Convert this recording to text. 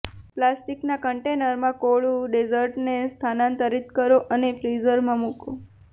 પ્લાસ્ટિકના કન્ટેનરમાં કોળું ડેઝર્ટને સ્થાનાંતરિત કરો અને ફ્રીઝરમાં મૂકો